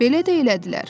Belə də elədilər.